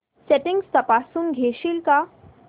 settings तपासून घेशील का